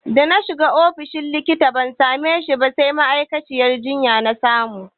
Dana shiga ofishin likita ban same shi ba sai ma'aikaciyar jinya na samu.